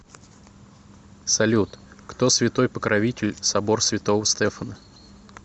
салют кто святой покровитель собор святого стефана